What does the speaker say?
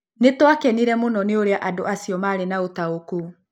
Nĩ twakenire mũno nĩ ũrĩa andũ acio maarĩ na ũtaũku